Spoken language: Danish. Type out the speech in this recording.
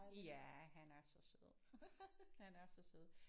Ja han er så sød han er så sød